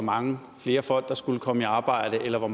mange flere folk der skulle komme i arbejde eller hvor